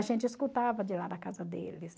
A gente escutava de lá da casa deles.